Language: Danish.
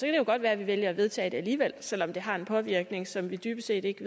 det jo godt være at vi vælger at vedtage det alligevel selv om det har en påvirkning som vi dybest set ikke